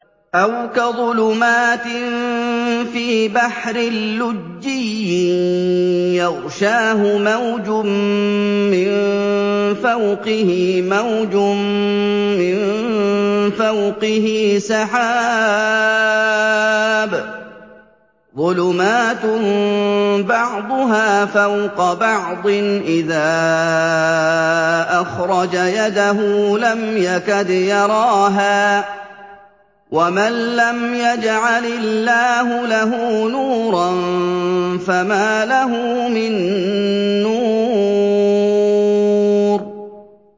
أَوْ كَظُلُمَاتٍ فِي بَحْرٍ لُّجِّيٍّ يَغْشَاهُ مَوْجٌ مِّن فَوْقِهِ مَوْجٌ مِّن فَوْقِهِ سَحَابٌ ۚ ظُلُمَاتٌ بَعْضُهَا فَوْقَ بَعْضٍ إِذَا أَخْرَجَ يَدَهُ لَمْ يَكَدْ يَرَاهَا ۗ وَمَن لَّمْ يَجْعَلِ اللَّهُ لَهُ نُورًا فَمَا لَهُ مِن نُّورٍ